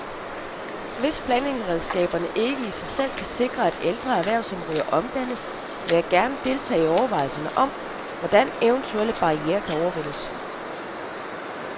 Hvis planlægningsredskaberne ikke i sig selv kan sikre, at ældre erhvervsområder omdannes, vil jeg gerne deltage i overvejelser om, hvordan eventuelle barrierer kan overvindes.